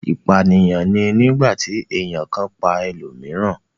ipaniyan ni nigbati èyán kan pá elomiiran.